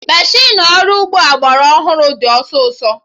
Meshịnụ ọrụ ugbo agbara ọhụrụ dị ọsịsọ